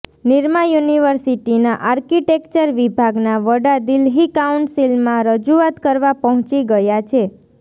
નિરમા યુનિવર્સિટીના આર્કિટેક્ચર વિભાગના વડા દિલ્હી કાઉન્સિલમાં રજૂઆત કરવા પહોંચી ગયા છે